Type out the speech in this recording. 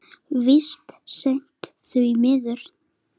Víst seint, því miður.